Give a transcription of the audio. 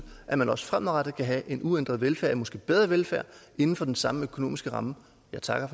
at man også fremadrettet kan have en uændret velfærd og måske en bedre velfærd inden for den samme økonomiske ramme jeg takker